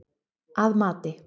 Að mati